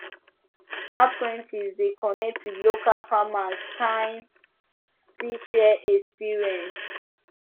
apprentices dey connect with local farmers kan still share experience